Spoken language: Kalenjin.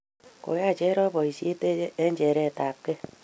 Koyai cherop poisyet eng' chernet ap kei.